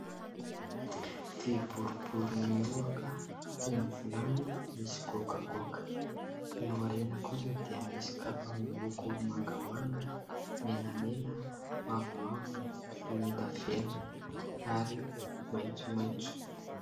Vy boribory mihoaka toy ny vilany misy goagoaka; ny ao aoriana kosa dia misy kapa miloko : mangamanga, menamena, mavomavo, volondavenina ary maitsomaitso.